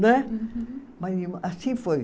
Né. Uhum. Mas assim foi.